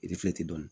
dɔnni